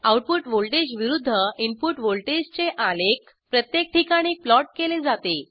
output voltage विरूद्ध input व्हॉल्टेजचे आलेख प्रत्येक ठिकाणी प्लॉट केले जाते